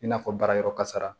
I n'a fɔ baarayɔrɔ kasara